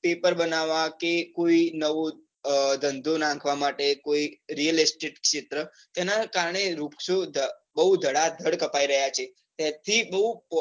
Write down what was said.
Paper બનાવવા કે કોઈક નવો ધંધો નાખવા માટે કોઈ realistic ક્ષેત્ર તેના કારણે વૃક્ષઓ બૌ ધડાધડ કપાઈ રહ્યા છે.